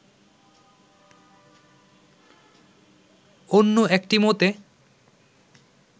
অন্য একটি মতে